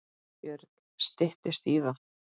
Björn: Styttist í það?